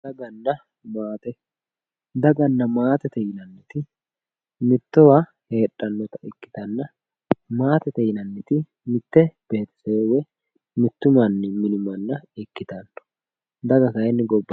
daganna maate daganna maatete yinanniti mittowa heedhannota ikkitanna maatete mitte beetisewe woye mittu mini manna ikkitanno daga kayeenni gobba